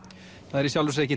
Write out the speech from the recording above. það